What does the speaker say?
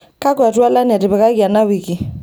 kakwa twalan etipikaki ena wiki